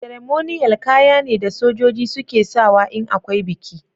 " Ceremonial" kaya ne da sojoji suke sawa in akwai biki.